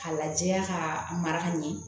K'a lajɛ k'a mara ka ɲɛ